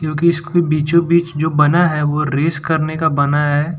क्योंकि इसके बीचो बीच जो बना है वो रेस करने का बना है।